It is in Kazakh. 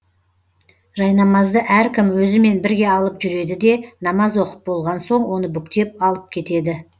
жайнамазды әркім өзімен бірге алып жүреді де намаз оқып болған соң оны бүктеп алып кетеді